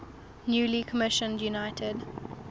newly commissioned united